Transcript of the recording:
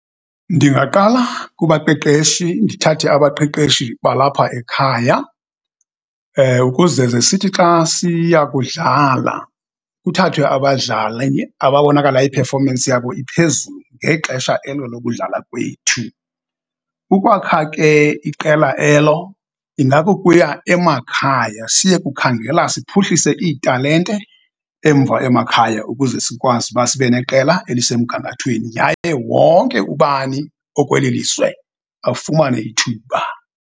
Ndingaqala kubaqeqeshi ndithathe abaqeqeshi balapha ekhaya ukuze ze sithi xa siya kudlala kuthathwe abadlali ababonakala i-performance yabo iphezulu ngexesha elo lokudlala kwethu. Ukwakha ke iqela elo ingakukuya emakhaya siye kukhangela siphuhlise iitalente emva emakhaya ukuze sikwazi uba sibe neqela elisemgangathweni yaye wonke ubani okweli lizwe afumane ithuba.